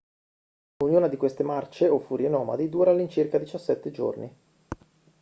ognuna di queste marce o furie nomadi dura all'incirca 17 giorni